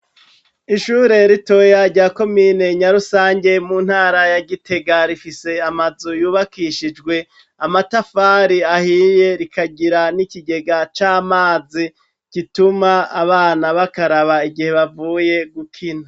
Ishure ritoya rya komine Nyarusange mu ntara ya Gitega, rifise amazu yubakishijwe amatafari ahiye rikagira n'ikigega c'amazi, gituma abana bakaraba igihe bavuye gukina.